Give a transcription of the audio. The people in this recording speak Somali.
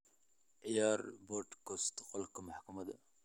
ciyaar podcast qolka maxkamada